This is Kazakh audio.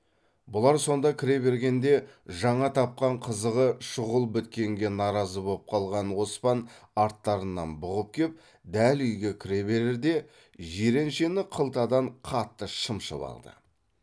бұлар сонда кіре бергенде жаңа тапқан қызығы шұғыл біткенге наразы боп қалған оспан арттарынан бұғып кеп дәл үйге кіре берерде жиреншені қылтадан қатты шымшып алды